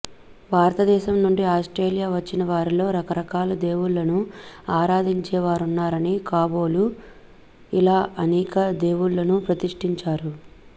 భారత దేశం నుండి ఆస్ట్రేలియా వచ్చిన వారిలో రకరకాల దేవుళ్ళను ఆరాధించేవారున్నారని కాబోలు ఇలా అనేక దేవుళ్ళను ప్రతిష్టించారు